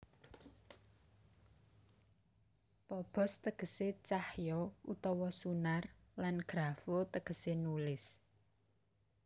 Phobos tegese cahya utawa sunar lan graphoo tegese nulis